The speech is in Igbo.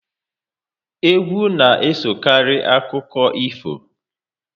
Egwu na esokari akụkọ ifo